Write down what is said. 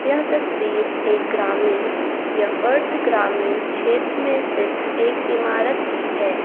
यह तस्वीर एक ग्रामीण या अर्ध ग्रामीण क्षेत्र में स्थित एक इमारत की है।